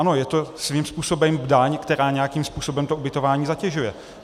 Ano, je to svým způsobem daň, která nějakým způsobem to ubytování zatěžuje.